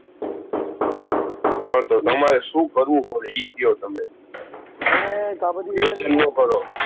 હં તો તમારે શું કરવું પછી અ કયો તમે?